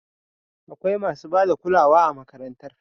Akwai masu ba da kulawa a makarantar.